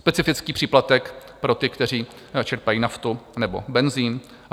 Specifický příplatek pro ty, kteří čerpají naftu nebo benzin.